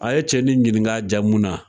A ye cɛnin ɲininka a jamu na.